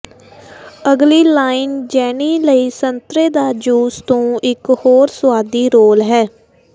ਅਗਲੀ line Jenny ਲਈ ਸੰਤਰੇ ਦਾ ਜੂਸ ਤੋਂ ਇੱਕ ਹੋਰ ਸੁਆਦੀ ਰੋਲ ਹੈ